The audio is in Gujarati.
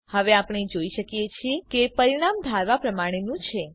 હવે આપણે જોઈ શકીએ છીએ કે પરિણામ ધારવા પ્રમાણેનું છે